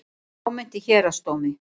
Fámennt í Héraðsdómi